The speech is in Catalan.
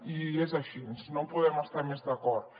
i és així no hi podem estar més d’acord